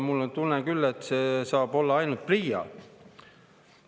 Mul on küll tunne, et see saab olla ainult PRIA.